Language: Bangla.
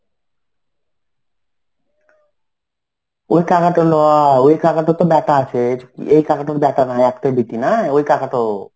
ওই কাকা টা নয়. ওই কাকা টো তো ব্যাটা আছে. এই কাকাটার ব্যাটা নয়. একটাই বেটি না. ওই কাকাটো.